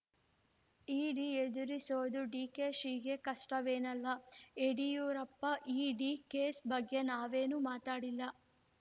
ಇಡಿ ಎದುರಿಸೋದು ಡಿಕೆಶಿಗೆ ಕಷ್ಟವೇನಲ್ಲ ಯಡಿಯೂರಪ್ಪ ಇಡಿ ಕೇಸ್‌ ಬಗ್ಗೆ ನಾವೇನೂ ಮಾತಾಡಿಲ್ಲ